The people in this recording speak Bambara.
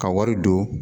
Ka wari don